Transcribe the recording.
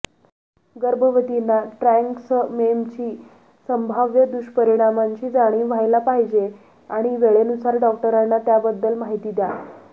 गर्भवतींना ट्रॅन्क्समेमची संभाव्य दुष्परिणामांची जाणीव व्हायला पाहिजे आणि वेळेनुसार डॉक्टरांना त्याबद्दल माहिती द्या